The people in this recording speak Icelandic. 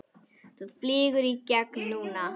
Þú flýgur í gegn núna!